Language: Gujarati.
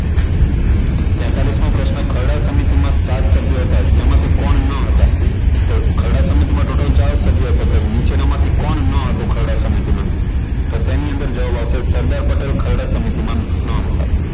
તેતાલીસ મો પ્રશ્ન ખારડા સમિતિમાં સાત સભ્યો હતા જેમાંથી કોણ ન હતા તો ખરડા સમિતિમાં total ચાર સભ્યો હતા નીચેનામાંથી કોણ ન હતું ખરડા સમિતિમાં તો તેની અંદર જવાબ આવશે સરદાર પટેલ ખરડા સમિતિમાં ન હતા